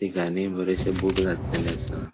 तिघानी बरेशे बूट घातलेले असा.